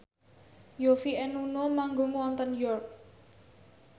Yovie and Nuno manggung wonten York